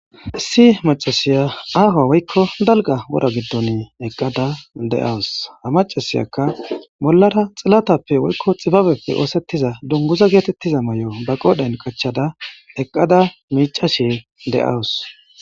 issi macasiya aahoa woykko dalga wora giddon eqqada de'awus ha macasiyakka bollara xilatappe woykko xibabepfe oosettiza dunguza geetettiza mayo ba qoodhen qachchada eqqada miicashe de'awus